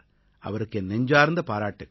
அவருக்கு என் நெஞ்சார்த்த பாராட்டுக்கள்